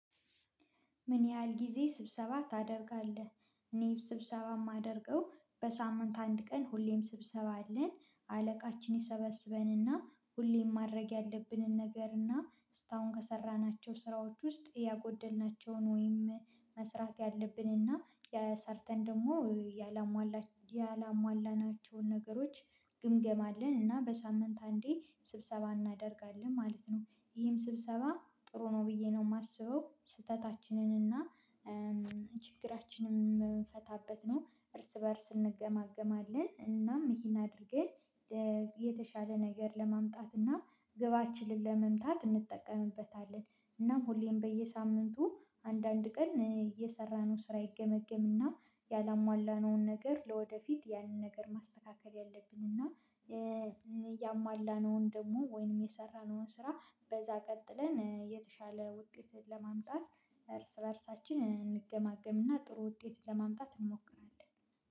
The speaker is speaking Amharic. ምን ያህል ጊዜ ስብሰባ ታደርጋለህ? እኔ ስብሰባ የማደርገው በሳምንት አንድ ቀን ሁሌም ስብሰባ አለን። አለቃችን ይሰበስበንና ሁሌም ማድረግ ያለብንን ነገርና እስካሁን ከሰራናቸው ስራዎች ውስጥ ያጎደልናቸውን ወይም መስራት ያለብን እና ሰርተን ደግሞ ያላሟላናቸውን ነገሮች ግምገማ አለን እና በሳምንት አንዴ ስብሰባ እናደርጋለን ማለት ነው። ይህም ስብሰባ ጥሩ ነው ብዬ ነው የማስበው። ስህተታችንን እና ችግራችንን የምንፈታበት ነው። እርስ በእርስ እንገማገማለን፣ እናም ይሄን አድርጌን የተሻለ ነገር ለማምጣት እና ግባችንን ለመምታት እንጠቀምበታለን። እናም ሁሌም በየሳምንቱ አንዳንድ ቀን እየሰራነው ስራ ይገመገምና ያላሟላነውን ነገር ለወደፊት ያንን ነገር ማስተካከል ያለብኝና ያሟላነውን ደግሞ ወይንም የሰራነውን ስራ በዛ ቀጥለን የተሻለ ውጤት ለማምጣት እርስ በእርሳችን እንገማገምና ጥሩ ውጤት ለማምጣት እንሞክራለን።